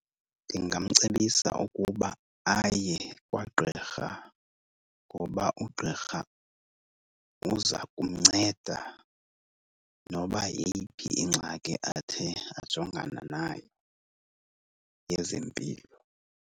Ndingamcebisa ukuba aye kwagqirha ngoba ugqirha uza kumnceda noba yeyiphi ingxaki athe ajongana nayo yezempilo.